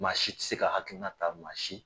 Maa si tɛ se ka hakilina ta, maa si.